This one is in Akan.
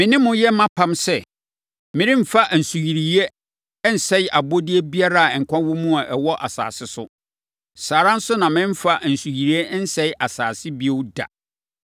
Me ne mo yɛ mʼapam sɛ: Meremfa nsuyire nsɛe abɔdeɛ biara a nkwa wɔ mu a ɛwɔ asase so. Saa ara nso na meremfa nsuyire nsɛe asase bio da.”